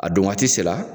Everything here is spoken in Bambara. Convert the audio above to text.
A don waati sera